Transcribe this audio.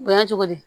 O ya cogo di